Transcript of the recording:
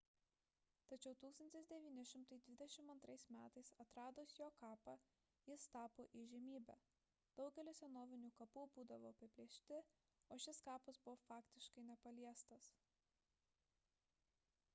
tačiau 1922 m atradus jo kapą jis tapo įžymybe daugelis senovinių kapų būdavo apiplėšti o šis kapas buvo faktiškai nepaliestas